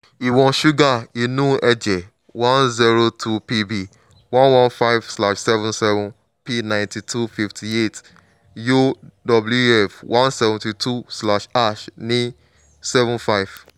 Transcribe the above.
ìwọ̀n ṣúgà inú ẹ̀jẹ̀ one zero two bp one one five slash seven seven p ninety-two fifty-eight yowf one seventy-two slash ash ní seven five